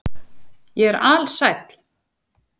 Ég er alsæll.